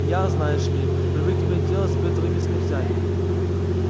я знаешь ли привык иметь дело с бытовыми смертями